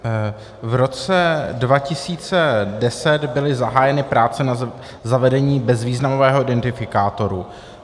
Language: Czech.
V roce 2010 byly zahájeny práce na zavedení bezvýznamového identifikátoru.